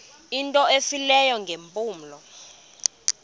into efileyo ngeempumlo